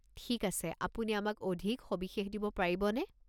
ঠিক আছে, আপুনি আমাক অধিক সবিশেষ দিব পাৰিবনে?